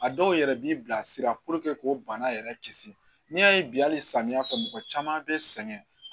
A dɔw yɛrɛ b'i bilasira k'o bana yɛrɛ kisi n'i y'a ye bi hali samiyɛ fɛ mɔgɔ caman bɛ sɛgɛn